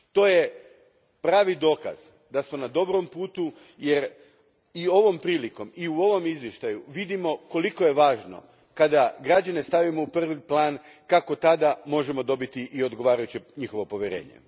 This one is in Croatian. To je pravi dokaz da su na dobrom putu, jer i ovom prilikom i u ovom izvještaju vidimo koliko je važno kada građane stavimo u prvi plan, kako tada možemo dobiti i njihovo odgovarajuće povjerenje.